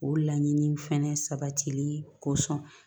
O laɲini fɛnɛ sabatili kosɔn